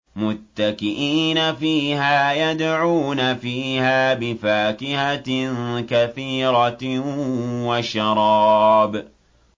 مُتَّكِئِينَ فِيهَا يَدْعُونَ فِيهَا بِفَاكِهَةٍ كَثِيرَةٍ وَشَرَابٍ